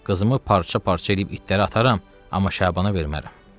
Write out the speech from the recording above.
Qızımı parça-parça eləyib itlərə ataram, amma Şabana vermərəm.